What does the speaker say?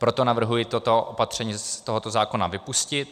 Proto navrhuji toto opatření z tohoto zákona vypustit.